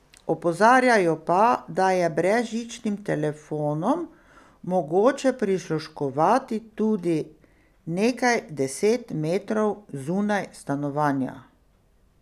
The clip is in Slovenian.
Opozarjajo pa, da je brezžičnim telefonom mogoče prisluškovati tudi nekaj deset metrov zunaj stanovanja.